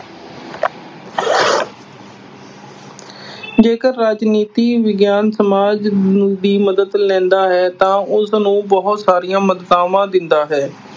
ਜੇਕਰ ਰਾਜਨੀਤੀ ਵਿਗਿਆਨ ਸਮਾਜ ਨੂੰ, ਦੀ ਮਦਦ ਲੈਂਦਾ ਹੈ ਤਾਂ ਉਸਨੂੰ ਬਹੁਤ ਸਾਰੀਆਂ ਮਦਤਾਵਾਂ ਦਿੰਦਾ ਹੈ।